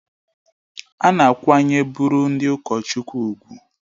A na-akwanyere bụrụ ndị ụkọchukwu ùgwù